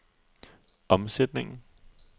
omsætningen